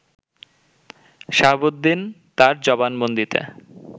শাহাবুদ্দিন তার জবানবন্দিতে